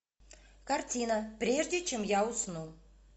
картина прежде чем я усну